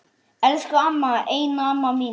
Elsku amma, eina amma mín.